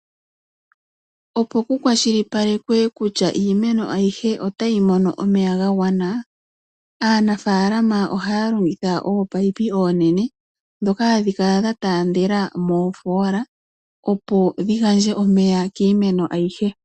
Opo ku kwashilipalekwe kutya iiimeno ayihe otayi mono omeya ga gwana aanafaalama ohaya longitha ominino ominene ndhoka hadhi kala dha taandela miimpungu opo dhi gandje omeya kiimeno ayihe.